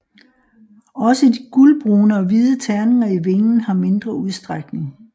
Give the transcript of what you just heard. Også de gulbrune og hvide tegninger i vingen har mindre udstrækning